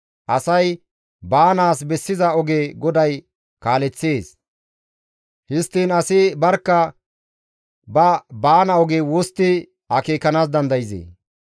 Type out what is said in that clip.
Asay baanaas bessiza oge GODAY kaaleththees; histtiin asi barkka ba baana oge wostti akeekanaas dandayzee?